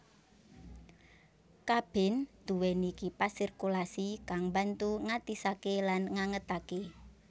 Kabin duweni kipas sirkulasi kang mbantu ngatisake lan ngangetake